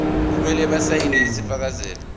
kumele basayine isifakazelo